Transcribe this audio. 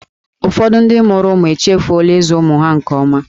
Ụfọdụ ndị mụrụ ụmụ echefuola ịzụ ụmụ ha nke ọma.